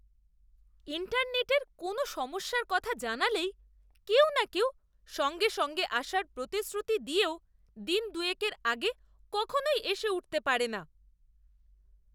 ইন্টারনেটের কোনও সমস্যার কথা জানালেই কেউ না কেউ সঙ্গে সঙ্গে আসার প্রতিশ্রুতি দিয়েও দিন দুয়েকের আগে কখনোই এসে উঠতে পারে না।